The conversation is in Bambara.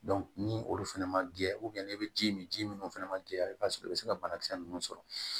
ni olu fɛnɛ ma gɛn n'i bɛ ji min ji munnu fɛnɛ ma jɛya i b'a sɔrɔ i be se ka banakisɛ nunnu sɔrɔ